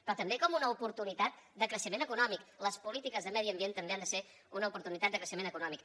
però també com una oportunitat de creixement econòmic les polítiques de medi ambient també han de ser una oportunitat de creixement econòmic